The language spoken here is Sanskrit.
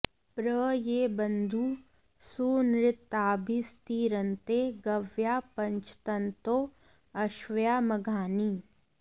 प्र ये बन्धुं॑ सू॒नृता॑भिस्ति॒रन्ते॒ गव्या॑ पृ॒ञ्चन्तो॒ अश्व्या॑ म॒घानि॑